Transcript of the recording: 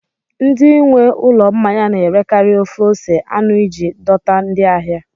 Ndị nwe ụlọ mmanya na-erekarị ofe ose anụ iji dọta ndị ahịa